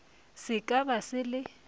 se ka ba se le